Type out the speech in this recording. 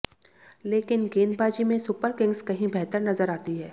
लेकिन गेंदबाजी में सुपर किंग्स कहीं बेहतर नजर आती है